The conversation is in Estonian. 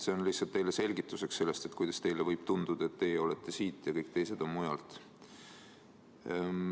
See oli lihtsalt teile selgituseks selle kohta, kuidas teile võib tunduda, et teie olete siit, aga kõik teised on mujalt.